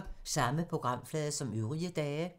Samme programflade som øvrige dage